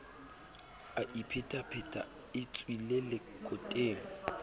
a iphetapheta e tswile lekoteng